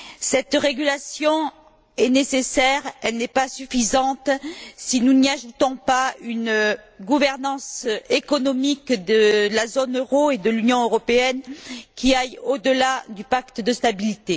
Cette régulation, nécessaire, n'est pas suffisante si nous n'y ajoutons pas une gouvernance économique de la zone euro et de l'Union européenne qui aille au delà du pacte de stabilité.